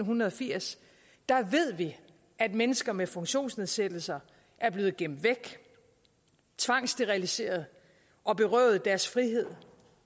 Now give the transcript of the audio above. firs ved vi at mennesker med funktionsnedsættelser er blevet gemt væk tvangssteriliseret og berøvet deres frihed